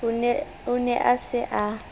o ne a sa e